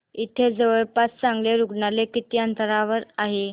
इथे जवळपास चांगलं रुग्णालय किती अंतरावर आहे